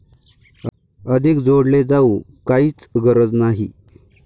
अधिक जोडले जाऊ काहीच गरज नाही!